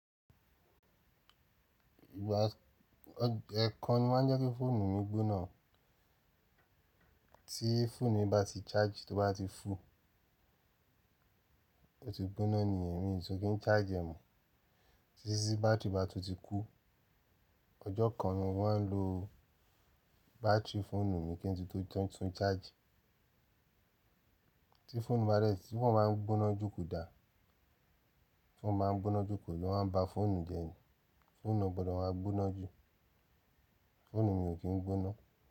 Ìgbà ọ̀ ẹ̀ ekan ni mọ́ maa ń jẹ́ kí fóònù mi gbóná tí fóònù bá ti charge tó bá ti fú tó ti gbóná ni ẹ̀mí tun kí n charge ẹ́ mo títí sí báátìrì bá tó ti kú. Ọjọ́ kan ni wọ́n lo báátìrì fóònù mi kí n tó tún tún charge. Tí fóònù bá rẹ̀ sí ti foonu ba n gbóná jù ko dà tí foonu baa n gbóná jù ku o máa ń ba fóònù jẹ́ ni. Fóònù ò gbọ́dọ̀ máa gbóná jù. Fóònù mi ò kí ń gbóná.